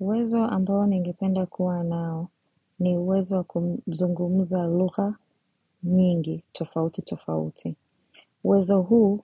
Uwezo ambao ningipenda kuwa nao ni uwezo wa kuzungumza lugha nyingi tofauti tofauti uwezo huu